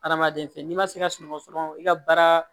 Adamaden fɛ n'i ma se ka sunɔgɔ dɔrɔn i ka baara